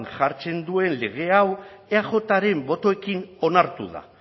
jartzen duen lege hau eajren botoekin onartu da